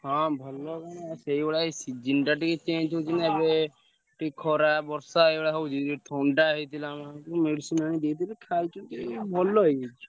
ହଁ ଭଲ କଣ ସେଇଭଳିଆ ଏଇ season ଟା ଟିକେ change ହଉଛି ନା ଏବେ ଟିକେ ଖରା, ବର୍ଷା ଏଇଭଳିଆ ହଉଛି। ଏ ଥଣ୍ଡା ହେଇଥିଲା ମାଆକୁ medicine ଆଣି ଦେଇଥିଲି ଖାଇଛନ୍ତି ଭଲ ହେଇଯାଇଛି।